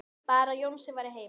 Bara að Jónsi væri heima.